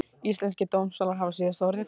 Íslenskir dómstólar hafa síðasta orðið